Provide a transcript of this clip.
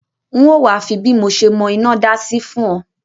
N o wa fi bí mo se mọ́ inádá sí fùn o